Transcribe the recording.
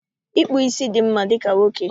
Ịkpụ ísí dị mma dịka nwoke